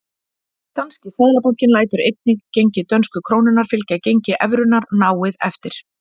Danski seðlabankinn lætur einnig gengi dönsku krónunnar fylgja gengi evrunnar náið eftir.